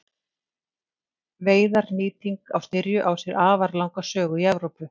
Veiðar Nýting á styrju á sér afar langa sögu í Evrópu.